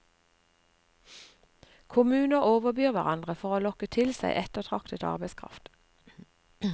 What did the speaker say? Kommuner overbyr hverandre for å lokke til seg ettertraktet arbeidskraft.